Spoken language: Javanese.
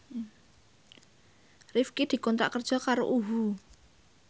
Rifqi dikontrak kerja karo UHU